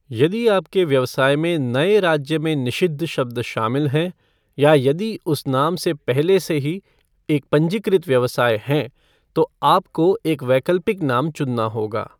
यदि आपके व्यवसाय में नए राज्य में निषिद्ध शब्द शामिल हैं, या यदि उस नाम से पहले से ही एक पंजीकृत व्यवसाय है, तो आपको एक वैकल्पिक नाम चुनना होगा।